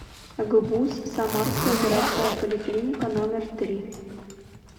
гбуз самарская городская поликлиника номер три